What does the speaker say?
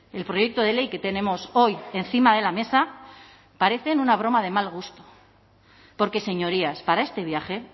el proyecto de ley que tenemos hoy encima de la mesa parece una broma de mal gusto porque señorías para este viaje